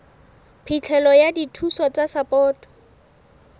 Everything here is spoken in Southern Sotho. phihlelo ya dithuso tsa sapoto